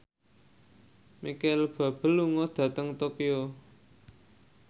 Micheal Bubble lunga dhateng Tokyo